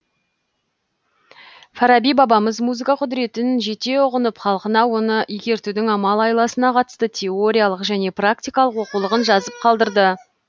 фараби бабамыз музыка құдыретін жете ұғынып халқына оны игертудің амал айласына қатысты тоериялық және пракиткалық оқулығын жазып қалдырды